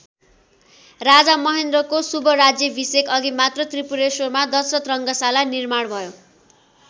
राजा महेन्द्रको शुभराज्याभिषेकअघि मात्र त्रिपुरेश्वरमा दशरथ रङ्गशाला निर्माण भयो।